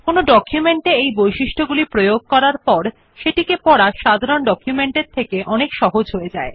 কোনো ডকুমেন্ট এ এই বৈশিষ্ট গুলি প্রয়োগ করার পর সেটিকে পড়া সাধারণ ডকুমেন্ট এর থেকে অনেক সহজ হয়ে যায়